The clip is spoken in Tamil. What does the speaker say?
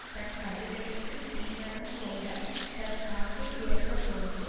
தன் கழுதைக்குத் தீவனம் போட தன் சாக்கைத் திறந்த போது